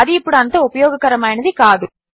అది ఇప్పుడు అంత ఉపయోగకరమైనది కాదు